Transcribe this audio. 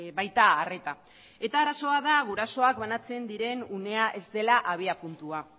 baita arreta eta arazoa da gurasoak banantzen diren unea ez dela abiapuntua